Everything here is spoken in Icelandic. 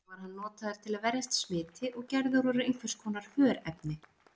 Þá var hann notaður til að verjast smiti og gerður úr einhvers konar hörefni.